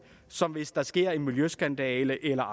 som hvis der sker en miljøskandale eller